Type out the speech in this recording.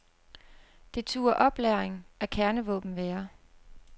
Det turde oplagring af kernevåben være.